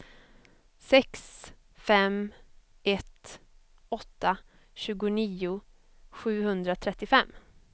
sex fem ett åtta tjugonio sjuhundratrettiofem